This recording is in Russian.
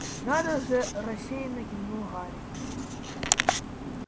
надо же рассеянно кивнул гарри